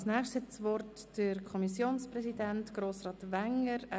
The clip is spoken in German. Als Nächstes hat Kommissionspräsident Grossrat Wenger das Wort.